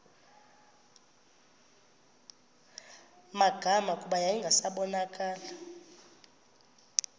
magama kuba yayingasabonakali